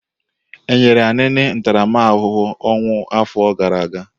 E nyere Anini ntaramahụhụ ọnwụ afọ gara aga?